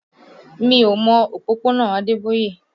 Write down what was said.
Mi ò mọ òpópónà Adeboye